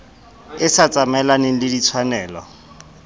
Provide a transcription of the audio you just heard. e sa tsamaelaneng le ditshwanelo